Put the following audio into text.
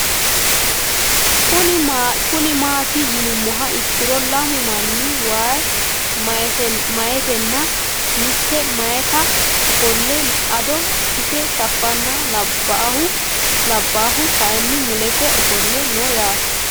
Kuni mati yinumoha ikiro lamu manni wayi mayitina mite mayita afole ado ise shafana labahu kayini mulese ofoole no yaate